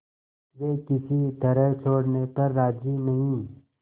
वे किसी तरह छोड़ने पर राजी नहीं